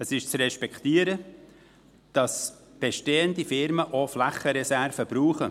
Es ist zu respektieren, dass bestehende Firmen auch Flächenreserven brauchen.